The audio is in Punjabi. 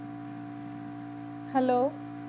hello